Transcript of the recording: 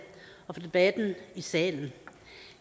og for debatten i salen